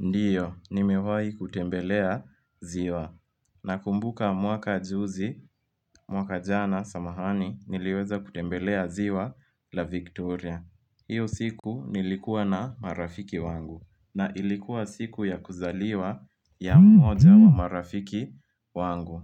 Ndio, nimewahi kutembelea ziwa. Nakumbuka mwaka juzi, mwaka jana, samahani, niliweza kutembelea ziwa la Victoria. Hiyo siku nilikuwa na marafiki wangu. Na ilikuwa siku ya kuzaliwa ya mmoja wa marafiki wangu.